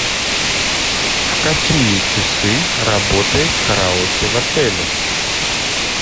в какие часы работает караоке в отеле